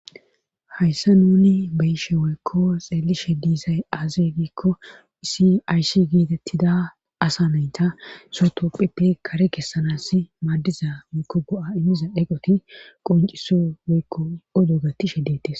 hayssa nuni beyishe woykko xeelishe diisay aaze giikko isi aysi gietettida asa nayta sotopphipe kare kessanas maaddiza miko go7a immiza dheqoti qonciso woykko odo gattishe detes